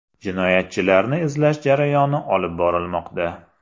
Jinoyatchilarni izlash jarayoni olib borilmoqda.